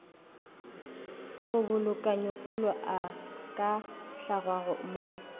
kgobokanyopula a ka hlangwago mo